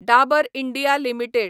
Dabur India limited